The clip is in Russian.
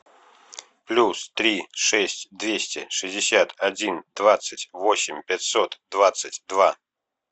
плюс три шесть двести шестьдесят один двадцать восемь пятьсот двадцать два